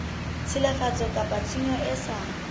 tshilafatso kapa tshenyo e sa